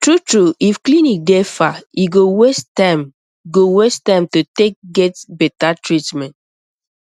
true true if clinic dey far e go waste time go waste time to take get better treatment